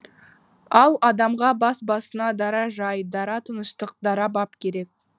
ал адамға бас басына дара жай дара тыныштық дара бап керек